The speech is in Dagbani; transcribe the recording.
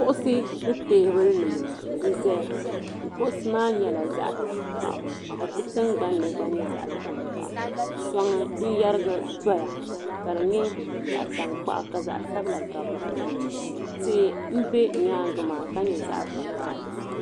Kuɣusi ni teebuli nima n zaya kuɣusi maa nyɛla zaɣa tankpaɣu di tingbani gba nyɛ zaŋ tankpaɣu soŋ n yerigi doya ka di nyɛ zaɣa tankpaɣu ka zaɣa sabila gabi dipuuni tihi m be di nyaanga maa ka nyɛ zaɣa vakahali.